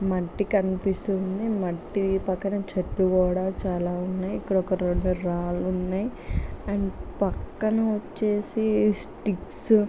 మట్టి కనిపిస్తుంది. మట్టి పక్కన కూడా చాలా చెట్లు ఉన్నాయి. పక్కన రాళ్లు కూడా ఉన్నాయి. అండ్ పక్కన వచ్చేసి స్టిక్స్ --